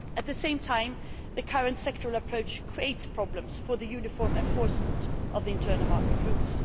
At the same time, the current sectoral approach creates problems for the uniform enforcement of the internal market rules.